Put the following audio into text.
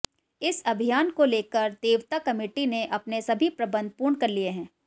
इस अभियान को लेकर देवता कमेटी ने अपने सभी प्रबंध पूर्ण कर लिए हैं